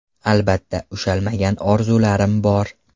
Albatta ushalmagan orzularim bor.